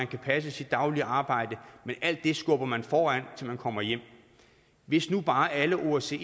kan passe sit daglige arbejde men alt det skubber man foran sig til man kommer hjem hvis nu bare alle osce